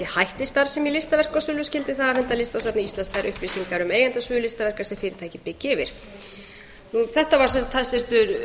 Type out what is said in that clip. hætti starfsemi í listaverkasölu skyldi það afhenda listasafni íslands þær upplýsingar um eigendasögu listaverka sem fyrirtækið byggi yfir þetta var sem sagt hæstvirtur